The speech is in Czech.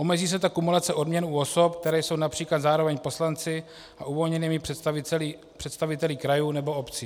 Omezí se tak kumulace odměn u osob, které jsou například zároveň poslanci a uvolněnými představiteli krajů nebo obcí.